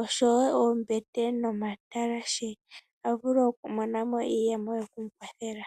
oshowo oombete nomatalashe avule okumona mo iiyemo yoku ikwathela.